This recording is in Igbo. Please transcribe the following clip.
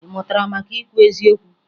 Ị mụtara maka ikwu eziokwu?